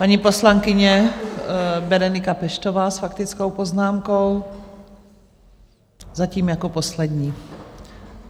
Paní poslankyně Berenika Peštová s faktickou poznámkou, zatím jako poslední.